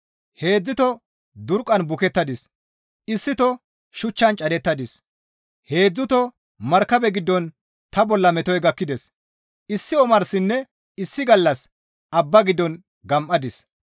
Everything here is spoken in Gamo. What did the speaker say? Heedzdzuto durqqan bukettadis; issito shuchchan cadettadis; heedzdzuto markabe giddon ta bolla metoy gakkides; issi omarsinne issi gallas abba giddon gam7adis.